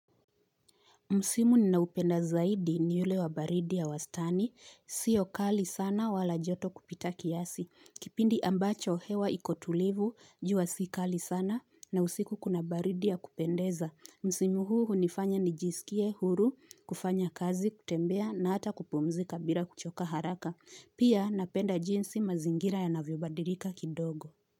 Msimu ninaopenda zaidi ni yule wa baridi ya wastani, sio kali sana wala joto kupita kiasi, kipindi ambacho hewa iko tulivu, jua si kali sana na usiku kuna baridi ya kupendeza. Msimu huu hunifanya nijisikie huru, kufanya kazi, kutembea na hata kupumzika bila kuchoka haraka. Pia napenda jinsi mazingira yanavyobadilika kidogo.